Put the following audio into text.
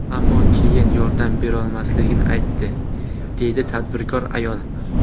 Ammo keyin yordam berolmasligini aytdi”, deydi tadbirkor ayol.